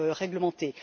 réglementées.